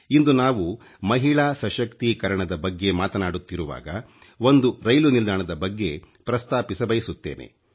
ಇಂದು ನಾವು ಮಹಿಳಾ ಸಶಕ್ತೀಕರಣದ ಬಗ್ಗೆ ಮಾತನಾಡುತ್ತಿರುವಾಗ ಒಂದು ರೈಲು ನಿಲ್ದಾಣದ ಬಗ್ಗೆ ಪ್ರಸ್ತಾಪಿಸಬಯಸುತ್ತೇನೆ